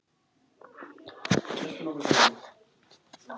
Dag getur átt við